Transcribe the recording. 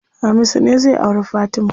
Hamisu ne zai auri Fatima.